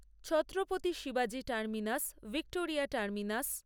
ছত্রপতি শিবাজী Terminus Victoria terminus